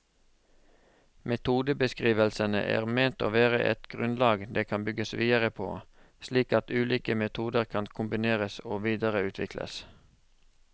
Metodebeskrivelsene er ment å være et grunnlag det kan bygges videre på, slik at ulike metoder kan kombineres og videreutvikles.